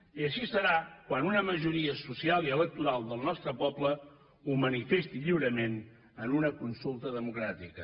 i així serà quan una majoria social i electoral del nostre poble ho manifesti lliurement en una consulta democràtica